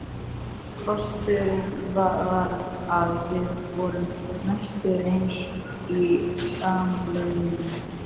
Kosturinn var að þau voru nánast ein í salnum.